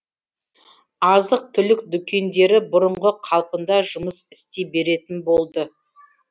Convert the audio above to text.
азық түлік дүкендері бұрынғы қалпында жұмыс істей беретін болды